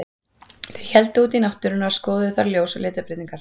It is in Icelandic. Þeir héldu út í náttúruna og skoðuðu þar ljós og litabreytingar.